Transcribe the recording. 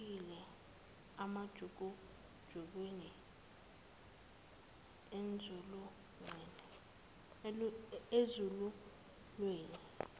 elahlekile emajukujukwini enzululwane